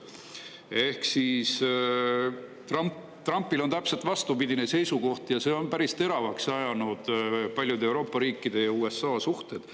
"] Ehk siis, Trumpil on täpselt vastupidine seisukoht ja see on päris teravaks ajanud paljude Euroopa riikide ja USA suhted.